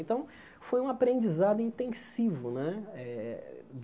Então, foi um aprendizado intensivo né eh.